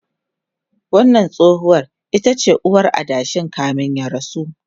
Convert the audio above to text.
wannan tsohuwar itace uwar adashin kamin ya rasu